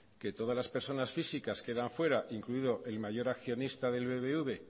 que todas las personas físicas quedan fuera incluido el mayor accionista del bbv